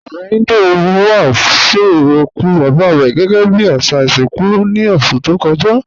Ọ̀rẹ̀ Híndú wá sun okù baba rẹ gẹgẹ́ bí àṣà ìṣinkú ní oṣù tó kọ́jà.